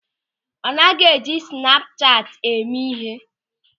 Ọ naghị eji snapu chati eme ịhe.